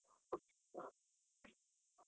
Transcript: .